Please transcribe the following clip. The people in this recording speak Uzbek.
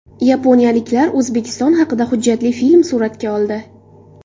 Yaponiyaliklar O‘zbekiston haqida hujjatli film suratga oldi.